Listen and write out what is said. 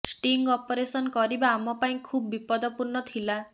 sting operation କରିବା ଆମ ପାଇଁ ଖୁବ ବିପଦପୂର୍ଣ୍ଣ ଥିଲା